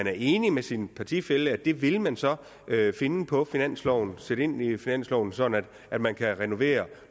er enig med sin partifælle i at det vil man så finde på finansloven sætte ind i finansloven sådan at man kan renovere